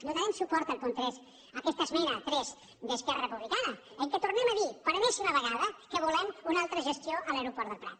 donarem suport al punt tres a aquesta esmena tres d’esquerra republicana en què tornem a dir per enèsima vegada que volem una altra gestió a l’aeroport del prat